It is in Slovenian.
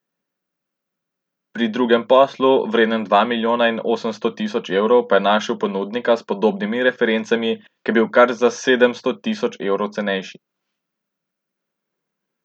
Pri drugem poslu, vrednem dva milijona in osemsto tisoč evrov, pa je našel ponudnika s podobnimi referencami, ki je bil kar za sedemsto tisoč evrov cenejši.